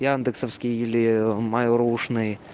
яндексовский или майлрушный